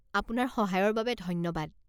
আপোনাৰ সহায়ৰ বাবে ধন্যবাদ।